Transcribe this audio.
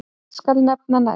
Hvern skal nefna næst?